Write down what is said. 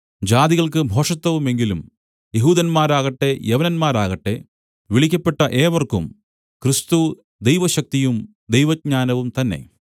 ജാതികൾക്ക് ഭോഷത്തവുമെങ്കിലും യെഹൂദന്മാരാകട്ടെ യവനന്മാരാകട്ടെ വിളിക്കപ്പെട്ട ഏവർക്കും ക്രിസ്തു ദൈവശക്തിയും ദൈവജ്ഞാനവും തന്നെ